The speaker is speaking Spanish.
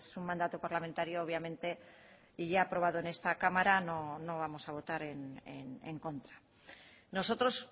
un mandato parlamentario obviamente y ya aprobado en esta cámara no vamos a votar en contra a nosotros